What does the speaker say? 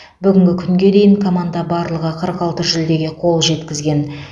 бүгінгі күнге дейін команда барлығы қырық алты жүлдеге қол жеткізген